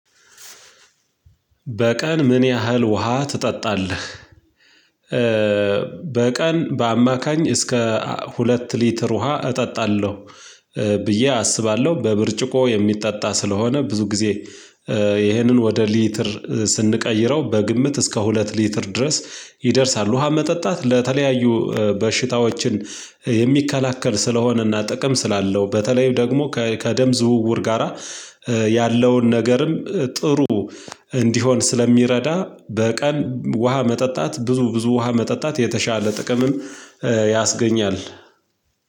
በቀን ምን ያህል ውሃ ትጠጣለህ? በቀን በአማካኝ እስከ ሁለት ሊትር ውሃ እጠጣለሁ ብዬ አስባለሁ በብርጭቆ የሚጠጣ ስለሆነ ብዙ ጊዜ ይህንን ወደ ሊትር ስንቀይረው በግምት እስከ ሁለት ሊትር ድረስ ይደርሳል ውሃ መጠጣት ለተለያዩ በሽታዎችን የሚከላከል ስለሆነና ጥቅም ስላለው በተለይ ደግሞ ከደም ዝውውር ጋራ ያለውን ነገርም ጥሩ እንዲሆን ስለሚረዳ በቀን ውሃ መጠጣት ብዙ ብዙ ውሃ መጠጣት የተሻለ ጥቅምም ያስገኛል